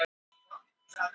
Lærðu að verjast rándýrum